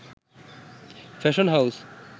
fashion house